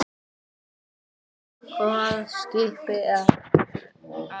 Hvaða skipi, Axel?